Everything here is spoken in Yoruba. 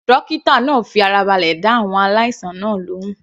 Dókítà náà fi ara balẹ̀ dá àwọn aláìsàn náà lóhùn.